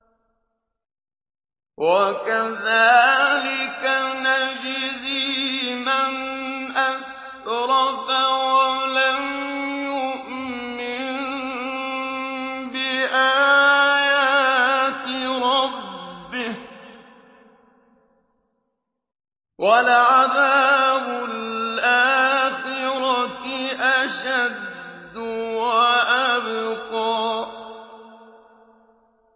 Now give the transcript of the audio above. وَكَذَٰلِكَ نَجْزِي مَنْ أَسْرَفَ وَلَمْ يُؤْمِن بِآيَاتِ رَبِّهِ ۚ وَلَعَذَابُ الْآخِرَةِ أَشَدُّ وَأَبْقَىٰ